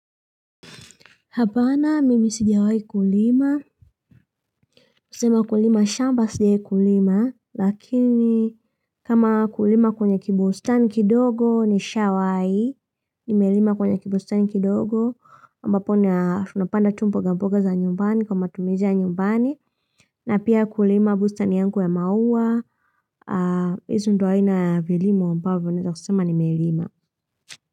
Hapana, mimi sijiawai kulima. Sema kulima, shamba sijai kulima. Lakini, kama kulima kwenye kibustani kidogo nishawai. Nimelima kwenye kibustani kidogo. Mbapo, na tunapanda tu mbogamboga za nyumbani kwa matumizi ya nyumbani. Na pia kulima bustani yangu ya maua. Hizi ndo aina ya vilimo ambavo, naweza kusema nimelima.